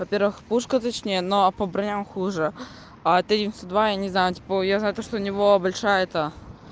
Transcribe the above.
во-первых пушка точнее но а по бровям хуже а тридцать два я не знаю типа я знаю то что у него большая это